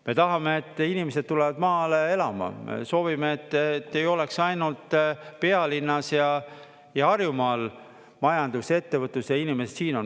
Me tahame, et inimesed tulevad maale elama, soovime, et ei oleks ainult pealinnas ja Harjumaal majandus ja ettevõtlus ja inimesed siin on.